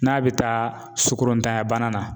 N'a bɛ taa sukoro ntanyabana na